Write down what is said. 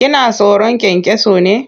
Kina tsoron kyankyaso ne?